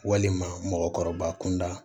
Walima mɔgɔkɔrɔba kunda